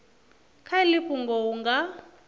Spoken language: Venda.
kha iḽi fhungo hu nga